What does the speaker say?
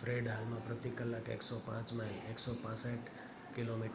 Fred હાલમાં પ્રતિ કલાક 105 માઇલ 165 કિમી/કની